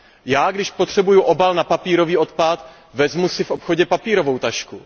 Já když potřebuju obal na papírový odpad, vezmu si v obchodě papírovou tašku.